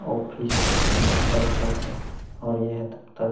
office दफ्तर का है और यह दफ्तर --